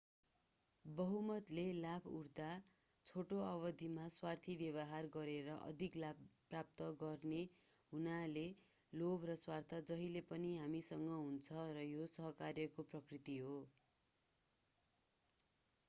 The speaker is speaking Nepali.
बहुमतले लाभ उठाउँदा छोटो अवधिमा स्वार्थी व्यवहार गरेर अधिक लाभ प्राप्त गर्ने हुनाले लोभ र स्वार्थ जहिले पनि हामीसँग हुन्छ र यो सहकार्यको प्रकृति हो